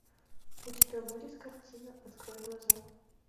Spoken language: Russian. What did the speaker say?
у тебя будет картина открой глаза